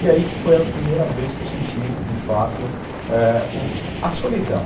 E aí que foi a primeira vez que eu senti, de fato, é, a solidão.